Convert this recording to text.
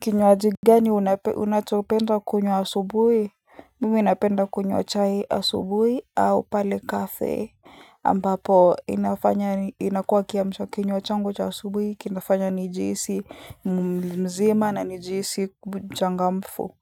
Kinywaji gani unachopenda kunywa asubuhi? Mimi napenda kunywa chai asubuhi au pale cafe ambapo inafanya inakuwa kiamshakinywa changu cha asubuhi, kinafanya nijihisi mzima na nijihisi changamfu